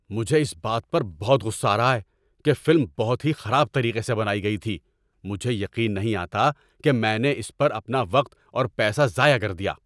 مجھے اس بات پر بہت غصہ آ رہا ہے کہ فلم بہت ہی خراب طریقے سے بنائی گئی تھی۔ مجھے یقین نہیں آتا کہ میں نے اس پر اپنا وقت اور پیسہ ضائع کر دیا۔